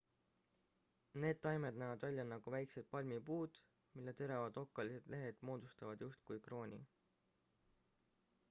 need taimed näevad välja nagu väikesed palmipuud mille teravad okkalised lehed moodustavad justkui krooni